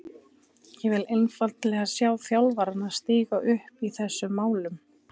Ég vil einfaldlega sjá þjálfarana stíga upp í þessum málum.